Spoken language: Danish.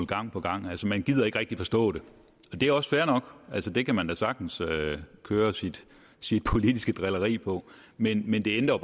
gang på gang altså man gider ikke rigtig forstå det det er også fair nok det kan man da sagtens køre sit sit politiske drilleri på men men det ændrer